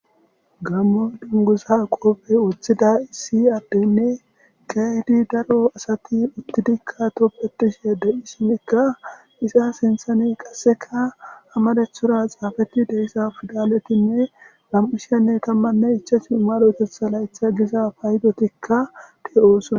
Gammo dungusa qoophey woththida issi addenne keydi daro asati uttidikka toppetishe de7i shimikka isa sinthane qasseka amalethora xaafeti deyssa fidaletinne lam7ushenne kammanne ichasnu marotetha laytha giza paydotikka ti7oosona.